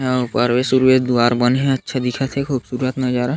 अऊ परवेस उरवे दुवार बन हे अच्छा दिखत हे खूबसूरत नजारा--